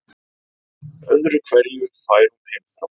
Öðru hverju fær hún heimþrá.